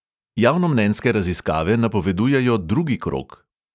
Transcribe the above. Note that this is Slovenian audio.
Javnomnenjske raziskave napovedujejo drugi krog.